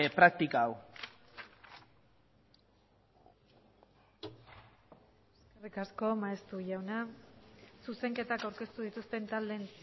praktika hau eskerrik asko maeztu jauna zuzenketak aurkeztu dituzten taldeen